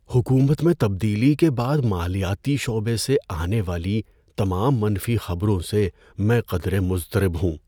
حکومت میں تبدیلی کے بعد مالیاتی شعبے سے آنے والی تمام منفی خبروں سے میں قدرے مضطرب ہوں۔